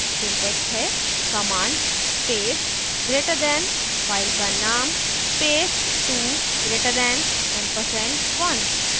syntax है command space greater than file का नाम space 2 greater than ampersand 1